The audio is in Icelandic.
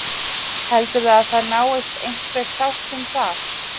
Heldurðu að það náist einhver sátt um það?